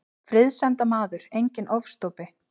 Friðsemdarmaður, enginn ofstopi.